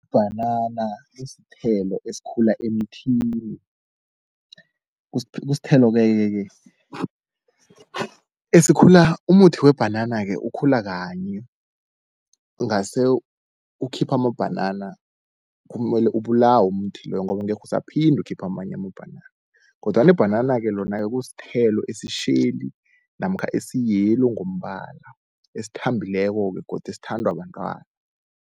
Ibhanana lisithelo esikhula emthini, kusithelo-ke esikhula, umuthi webhanana-ke ukhula kanye ungase ukhiphe amabhanana kumele ubulawe umuthi loyo ngoba angekhe usaphinde ukhiphe amanye amabhanana. Kodwana ibhanana-ke lona-ke kusithelo esitjheli namkha esi-yellow ngombala, esithambileko-ke godu esithandwa bantwana.